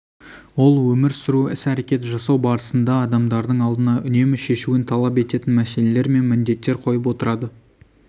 ол өмір сүру іс әрекет жасау барысында адамдардың алдына үнемі шешуін талап ететін мәселелер мен міндеттер қойып отырады